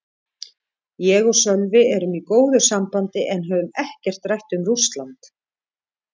Ég og Sölvi erum í góðu sambandi en höfum ekkert rætt um Rússland.